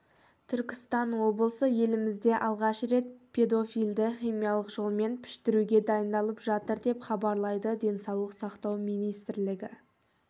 түркістан облысы елімізде алғаш рет педофилді химиялық жолмен піштіруге дайындалып жатыр деп хабарлайды денсаулық сақтау министрлігі